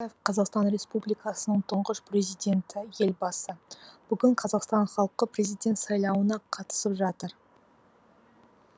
қазақстан республикасының тұңғыш президенті елбасы бүгін қазақстан халқы президент сайлауына қатысып жатыр